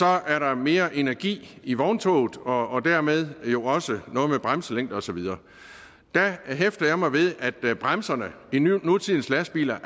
er der mere energi i vogntoget og dermed jo også noget med bremselængde og så videre der hæfter jeg mig ved at bremserne i nutidens lastbiler